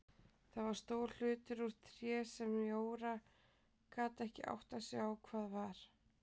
Það var stór hlutur úr tré sem Jóra gat ekki áttað sig á hvað var.